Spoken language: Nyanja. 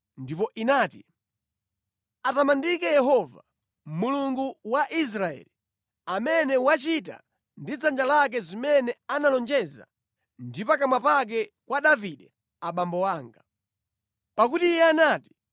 Ndipo inati: “Atamandike Yehova, Mulungu wa Israeli, amene wachita ndi dzanja lake zimene analonjeza ndi pakamwa pake kwa Davide abambo anga. Pakuti Iye anati,